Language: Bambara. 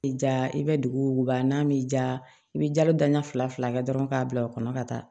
I ja i bɛ duguba n'a m'i ja i bɛ jalo dan fila fila kɛ dɔrɔn k'a bila o kɔnɔ ka taa